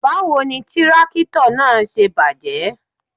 Báwo ni tírákítọ̀ náà ṣe bàjẹ́?